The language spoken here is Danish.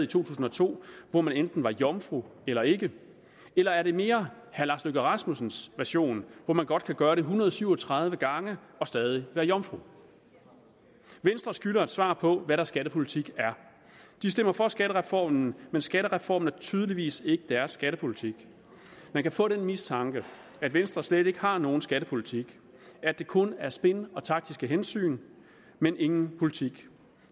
tusind og to hvor man enten var jomfru eller ikke eller er det mere herre lars løkke rasmussens version hvor man godt kan gøre det en hundrede og syv og tredive gange og stadig være jomfru venstre skylder et svar på hvad deres skattepolitik er de stemmer for skattereformen men skattereformen er tydeligvis ikke deres skattepolitik man kan få den mistanke at venstre slet ikke har nogen skattepolitik at det kun er spin og taktiske hensyn men ingen politik